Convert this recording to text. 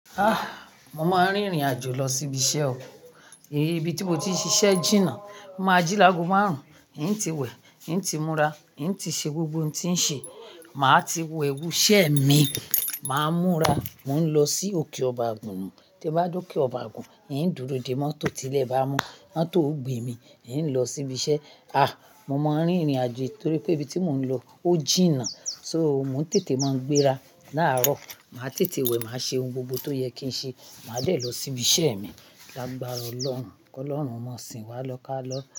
Mo máa n rìn ìrìnàjò lọ sí ibi iṣẹ ọ, ibi tí mo ti ń ṣiṣẹ jìnà. Mo máa jí lágo márùn-ún, ì ń ti wẹ̀, ì ń ti múra, ì ń ti ṣe gbogbo ohun tí ń ṣe. Máa ti wo ewu iṣẹ mi, máa múra, mò ń lọ sí òkè Ọba ògùn. Tí n bá dé òkè Ọba ògùn, ì ń dúró dè mọ́tò tí ilé bá mo. Mọ́tò o gbé mi, ì ń lọ sí ibi iṣẹ. Mo máa ń rìn ìrìnàjò torí pé ibi tí mò ń lọ ó jìnà. So, mo ń tètè máa ń gbéra. Láró, màá tètè wẹ̀, màá ṣe ohun gbogbo tó yẹ kí n ṣe. Màá dé lọ sí ibi iṣẹ mi. Lágbára Ọlọ́run. Kọ́ lọ́run, ọmọ sìn wá lọ kálọ́